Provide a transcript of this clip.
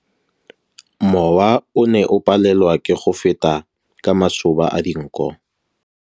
Mowa o ne o palelwa ke go feta ka masoba a dinko.